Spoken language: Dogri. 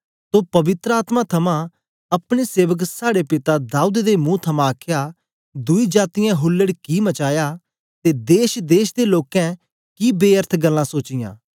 तो पवित्र आत्मा थमां अपने सेवक साड़े पिता दाऊद दे मुं थमां आखया दुई जातीयें हुल्लड़ कि मचाया ते देश देश दे लोकें कि बेअर्थ गल्लां सोचीयां